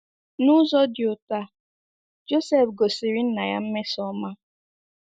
N’ụzọ dị otú a, Joseph gosiri nna ya mmesoọma.